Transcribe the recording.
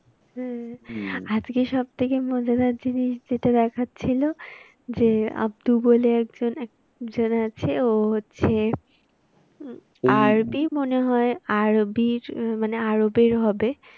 হ্যাঁ আজকে সব থেকে মজাদার জিনিস যেটা দেখাচ্ছিল যে আব্দু বলে একজন, এক জন আছে ও হচ্ছে উম আরবি মনে হয় আরবির মানে আরবের হবে।